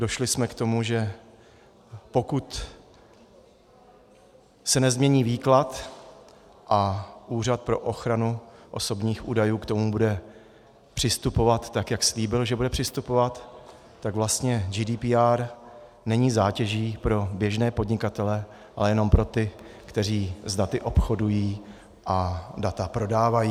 Došli jsme k tomu, že pokud se nezmění výklad a Úřad pro ochranu osobních údajů k tomu bude přistupovat tak, jak slíbil, že bude přistupovat, tak vlastně GDPR není zátěží pro běžné podnikatele, ale jenom pro ty, kteří s daty obchodují a data prodávají.